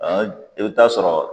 i bɛ t'a sɔrɔ